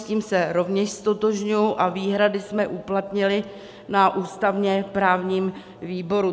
S tím se rovněž ztotožňuji a výhrady jsme uplatnili na ústavně-právním výboru.